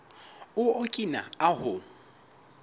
o okina ahu